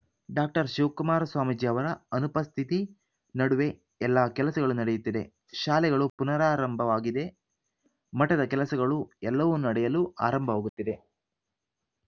doctor Shivakumara Swamiji ಅವರ ಅನುಪಸ್ಥಿತಿ ನಡುವೆ ಎಲ್ಲಾ ಕೆಲಸಗಳು ನಡೆಯುತ್ತಿದೆ ಶಾಲೆಗಳು ಪುನರಾರಂಭವಾಗಿದೆ ಮಠದ ಕೆಲಸಗಳು ಎಲ್ಲವೂ ನಡೆಯಲು ಆರಂಭವಾಗುತ್ತಿದೆ